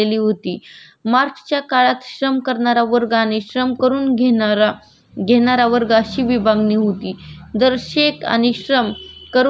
जर शेत आणि श्रम करून घेणाऱ्या व्यक्तीमधील असमानतेची दरी जास्त वाढली तर तीच वर्ग संघर्षाचे काढून ठरू शकते